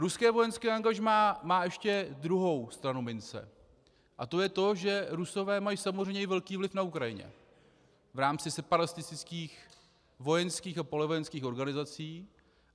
Ruské vojenské angažmá má ještě druhou stranu mince a to je to, že Rusové mají samozřejmě i velký vliv na Ukrajinu v rámci separatistických vojenských a polovojenských organizací.